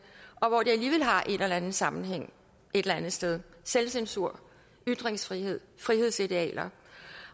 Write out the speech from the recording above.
er der en eller anden sammenhæng et eller andet sted selvcensur ytringsfrihed frihedsidealer